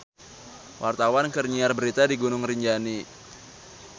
Wartawan keur nyiar berita di Gunung Rinjani